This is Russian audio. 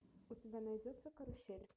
у тебя найдется карусель